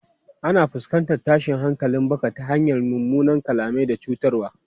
Ana fuskantar tashin hankalin baka ta hanyar munanan kalmomi da cutarwa.